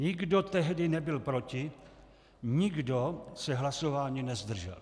Nikdo tehdy nebyl proti, nikdo se hlasování nezdržel.